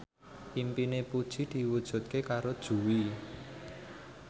impine Puji diwujudke karo Jui